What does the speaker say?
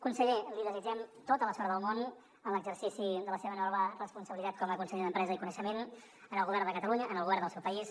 conseller li desitgem tota la sort del món en l’exercici de la seva nova responsabilitat com a conseller d’empresa i coneixement en el govern de catalunya en el govern del seu país